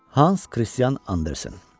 Hans Kristian Andersen.